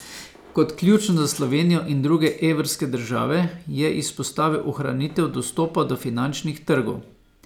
Kot ključno za Slovenijo in druge evrske države je izpostavil ohranitev dostopa do finančnih trgov.